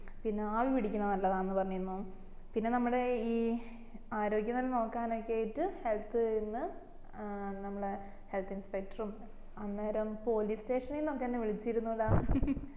പിന്നെ ആവി പിടിക്കുന്നത് നല്ലതാന്ന് പറഞ്ഞിരുന്നു പിന്നെ നമ്മളെ ഈ ആരോഗ്യ നില നോക്കാനൊക്കെ ആയിട്ട് health ന്ന് ഏർ നമ്മളെ health inspector ഉം അന്നേരം police station ന്ന് ഒക്കെ എന്ന വിളിച്ചിരുന്നൂട